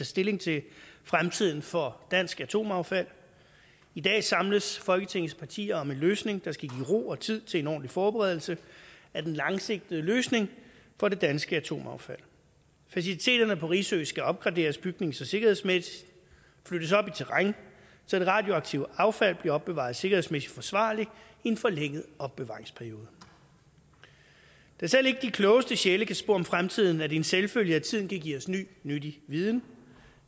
stilling til fremtiden for dansk atomaffald i dag samles folketingets partier om en løsning der skal give ro og tid til en ordentlig forberedelse af den langsigtede løsning for det danske atomaffald faciliteterne på risø skal opgraderes bygnings og sikkerhedsmæssigt flyttes op i terræn så det radioaktive affald bliver opbevaret sikkerhedsmæssigt forsvarligt i en forlænget opbevaringsperiode da selv ikke de klogeste sjæle kan spå om fremtiden er det en selvfølge at tiden kan give os en ny nyttig viden